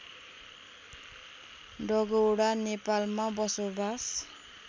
डगौरा नेपालमा बसोबास